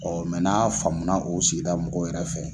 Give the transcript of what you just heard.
na faamuna o sigida mɔgɔw yɛrɛ fɛ.